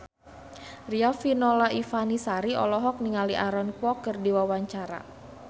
Riafinola Ifani Sari olohok ningali Aaron Kwok keur diwawancara